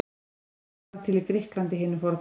Þessi iðja varð til í Grikklandi hinu forna.